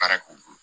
Baara k'o bolo